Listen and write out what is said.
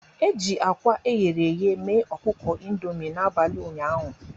E ji akwa eghere eghe mee ọkụkọ Indomi n'abalị ụnyaahụ.